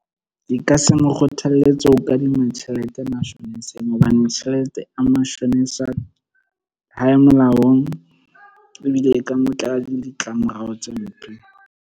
Ke ka se mo kgothalletse ho kadima tjhelete mashoneseng. Hobane tjhelete ya mashonisa ha e molaong, ebile e ka motlela le ditlamorao tse mpe.